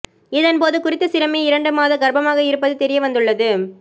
இதன்போது குறித்த சிறுமி இரண்டு மாத கர்ப்பமாக இருப்பது தெரியவந்துள்ளது